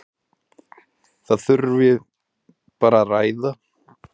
Það þurfi bara að ræða.